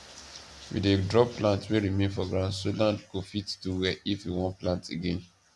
we dey drop plants wey remain for ground so land go fit do well if we wan plant again